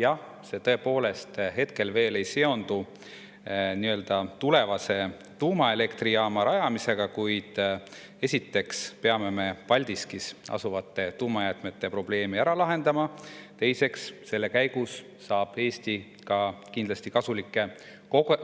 Jah, see tõepoolest hetkel veel ei seondu tulevase tuumaelektrijaama rajamisega, kuid esiteks peame me Paldiskis asuvate tuumajäätmete probleemi ära lahendama ja teiseks, selle käigus saab Eesti ka kindlasti kasulikke